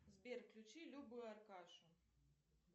сбер включи любу и аркашу